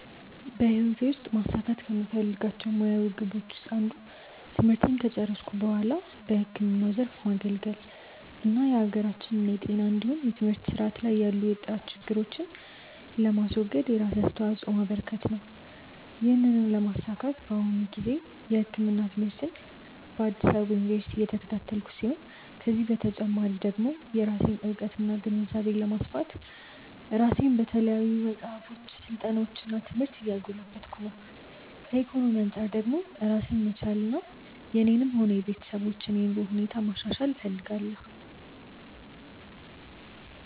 በህይወቴ ውስጥ ማሳካት ከምፈልጋቸው ሙያዊ ግቦች አንዱ ትምህርቴን ከጨረስኩ በኋላ ህክምናው ዘርፍ ማገልገል እና የሀገራችንን የጤና እንዲሁም የትምህርት ስርዓት ላይ ያሉ የጥራት ችግሮችን ለማስወገድ የራሴን አስተዋጾ ማበረከት ነው። ይህንን ለማሳካት በአሁኑ ጊዜ የህክምና ትምህርትን በአዲስ አበባ ዩኒቨርሲቲ እየተከታተልኩ ሲሆን ከዚህ በተጨማሪ ደግሞ የራሴን እውቀትና ግንዛቤ ለማስፋት ራሴን በተለያዩ መጽሐፎች፣ ስልጠናዎች እና ትምህርት እያጎለበትኩ ነው። ከኢኮኖሚ አንጻር ደግሞ ራሴን መቻልና የኔንም ሆነ የቤተሰቦችን የኑሮ ሁኔታ ማሻሻል እፈልጋለሁ።